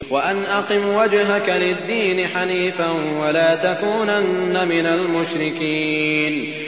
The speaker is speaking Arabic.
وَأَنْ أَقِمْ وَجْهَكَ لِلدِّينِ حَنِيفًا وَلَا تَكُونَنَّ مِنَ الْمُشْرِكِينَ